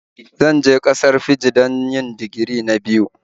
Zan je ƙasar Fiji don yi digiri na biyu